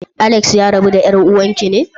Alex ya rabu da yar'uwan ki ne?